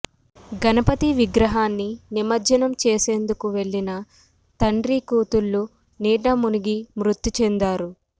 గణపతి విగ్రహాన్ని నిమజ్జనం చేసేందుకు వెళ్లిన తండ్రీకూతుళ్లు నీట మునిగి మృతి చెందారు